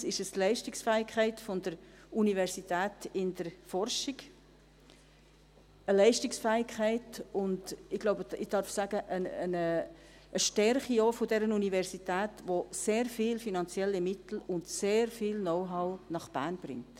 Zweitens ist es die Leistungsfähigkeit der Universität in der Forschung, eine Leistungsfähigkeit und – ich glaube, ich darf dies so sagen – auch eine Stärke dieser Universität, die sehr viele finanzielle Mittel und sehr viel Know-how nach Bern bringt.